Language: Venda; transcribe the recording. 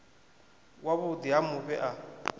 wa vhuḓi ha mufhe a